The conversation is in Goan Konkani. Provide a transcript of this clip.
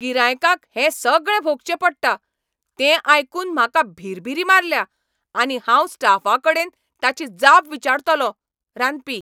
गिरायकांक हें सगळें भोगचें पडटा तें आयकून म्हाका भिरभिरी मारल्या आनी हांव स्टाफाकडेन ताची जाप विचारतलों. रांदपी